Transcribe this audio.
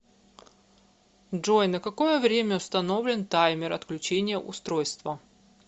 джой на какое время установлен таймер отключения устройства